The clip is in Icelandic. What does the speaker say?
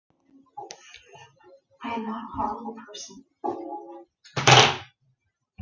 Hafði aldrei gert það.